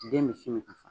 Den misi min ka fa